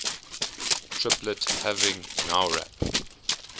triplet having nowrap